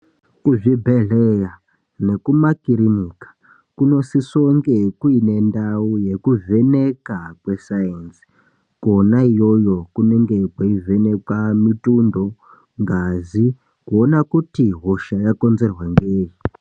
Kuzvibhedhleya nekumakiririnika kunosisoonge kuine ndau yekuvheneka kwesainzi. Kona iyoyo kunenge kweivhenekwa mitundo, ngazi, kuona kuti hosha yakonzerwa ngei.